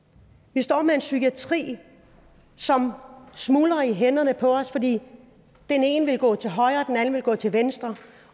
vi står med en psykiatri som smuldrer i hænderne på os fordi den ene vil gå til højre og den anden vil gå til venstre